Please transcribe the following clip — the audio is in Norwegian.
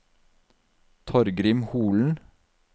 Torgrim Holen